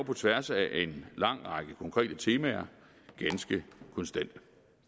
på tværs af en lang række konkrete temaer ganske konstante